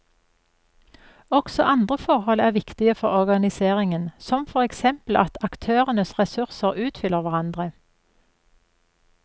Også andre forhold er viktige for organiseringen, som for eksempel at aktørenes ressurser utfyller hverandre.